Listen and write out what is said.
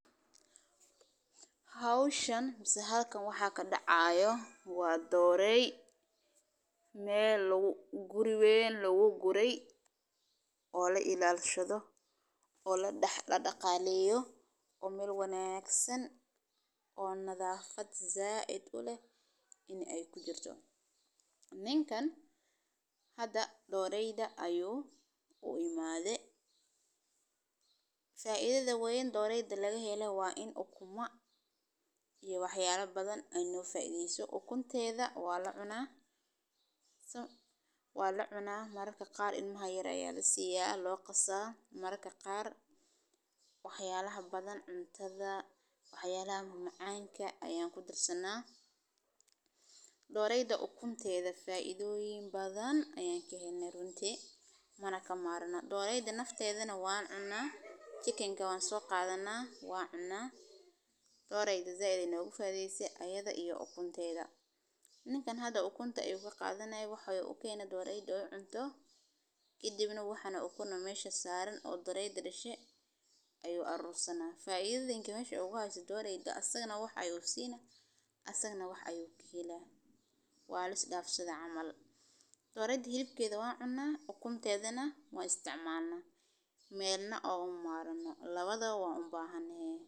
Xanaanada xoolaha nool, gaar ahaan xoolaha digaagga, waa mid muhiim u ah horumarinta dhaqaalaha iyo taakulaynta cunnada ee bulshada, sababtoo ah digaaggu waxay bixiyaan ukun, hilib, iyo malab tayo leh oo nafaqo badan leh, waxayna u baahan yihiin daryeel fudud oo ka kooban quud awood u leh inuu koriyo jirka, biyo nadiif ah, iyo degaan qabow oo aan laga soo horjeedin cudurrada, sidaas darteed, beeraha digaagga waxay u baahan yihiin maareyn fiican oo ay ku jiraan diyaarinta deegaanka, iibinta ukunta, iyo xakameynta xannaanada si loo yareeyo khasaaraha, sidoo kale, ganacsiga digaagga waa mid fudud oo aan macaash badan u baahnayn marka loo eego xoolaha kale.